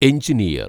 engineer‍